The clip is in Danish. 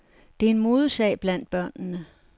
Det er en modesag blandt børnene.